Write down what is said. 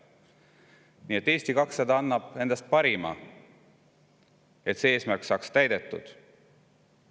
Nii et Eesti 200 annab endast parima, et see eesmärk saaks täidetud.